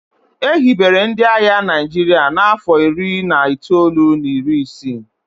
e hibere ndị agha Naijiria n'afọ iri na itoolu na iri isii